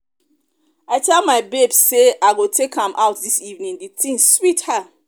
i tell my babe say i go take am out dis evening the thing sweet her